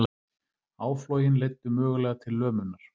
Áflogin leiddu mögulega til lömunar